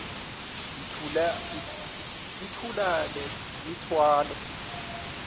yithula le mithwalo